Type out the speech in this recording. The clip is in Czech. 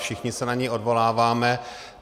Všichni se na ni odvoláváme.